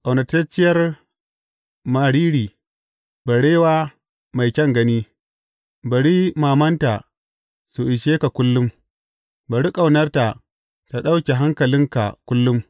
Ƙaunatacciyar mariri, barewa mai kyan gani, bari mamanta su ishe ka kullum, bari ƙaunarta ta ɗauke hankalinka kullum.